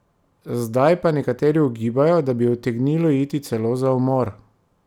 Zdaj pa nekateri ugibajo, da bi utegnilo iti celo za umor!